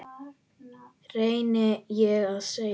reyni ég að segja.